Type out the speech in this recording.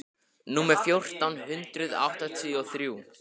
númer fjórtán hundruð áttatíu og þrjú.